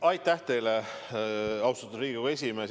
Aitäh teile, austatud Riigikogu esimees!